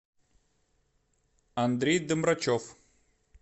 андрей домрачев